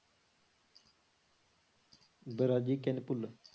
ਵਰਾਜੀ ਕਿੰਨ ਭੁੱਲ,